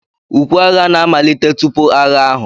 Ukwe agha na-amalite tupu agha ahụ.